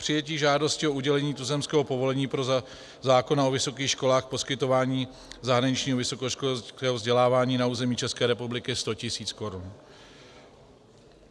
Přijetí žádosti o udělení tuzemského povolení podle zákona o vysokých školách, poskytování zahraničního vysokoškolského vzdělávání na území České republiky 100 tisíc korun.